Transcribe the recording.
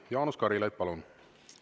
Jaanus Karilaid, palun!